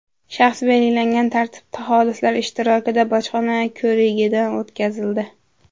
shaxs belgilangan tartibda xolislar ishtirokida bojxona ko‘rigidan o‘tkazildi.